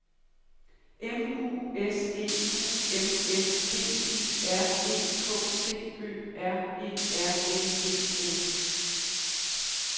M U S E U M S D I R E K T Ø R E R N E S